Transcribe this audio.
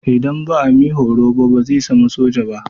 Idan ba a mi horo ba bazai zama soja ba.